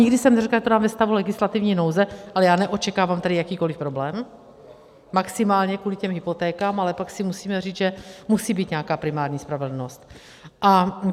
Nikdy jsem neřekla, že to dám ve stavu legislativní nouze, ale já neočekávám tady jakýkoliv problém, maximálně kvůli těm hypotékám, ale pak si musíme říct, že musí být nějaká primární spravedlnost.